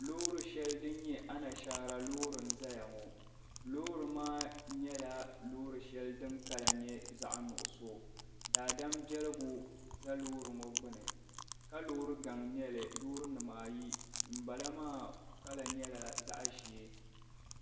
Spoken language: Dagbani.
Loori shɛli din nyɛ anashɛra loori n zaya ŋɔ loori nyɛla din kala zaɣ'nuɣiso daadama bɛligu za loori ŋɔ gbuni ka loori gaŋ nyɛli loorinima dibaayi din bala maa kala nyɛla zaɣ'ʒee